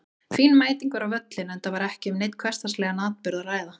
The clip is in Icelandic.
Fín mæting var á völlinn enda var ekki um neinn hversdagslegan atburð að ræða.